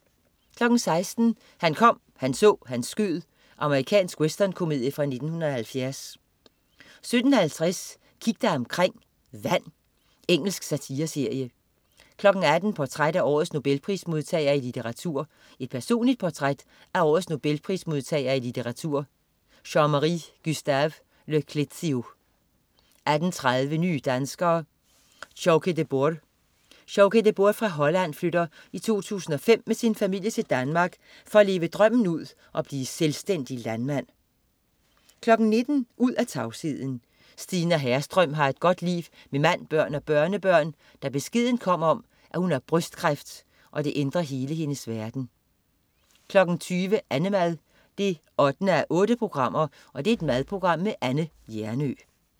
16.00 Han kom, han så, han skød. Amerikansk westernkomedie fra 1970 17.50 Kig dig omkring: Vand. Engelsk satireserie 18.00 Portræt af årets Nobelprismodtager i litteratur. Personligt portræt af årets Nobelprismodtager i litteratur, Jean-Marie Gustave Le Clézio 18.30 Nye danskere: Sjoukje de Boer. Sjoukje de Boer fra Holland flytter i 2005 med sin familie til Danmark for at leve drømmen ud og blive selvstændig landmand 19.00 Ud af tavsheden. Stina Herrström har et godt liv med mand, børn og børnebørn, da beskeden om, at hun har brystkræft, ændrer hele hendes verden 20.00 Annemad 8:8. Madprogram med Anne Hjernøe